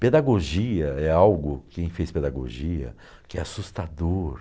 Pedagogia é algo, quem fez pedagogia, que é assustador.